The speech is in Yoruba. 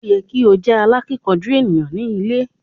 O yẹ ki o jẹ alákínkanjú eniyan ni ilé.